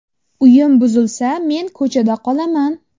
Uyim buzilsa men ko‘chada qolaman.